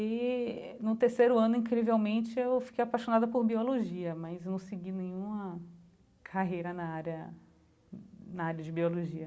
E no terceiro ano, incrivelmente, eu fiquei apaixonada por biologia, mas não segui nenhuma carreira na área na área de biologia.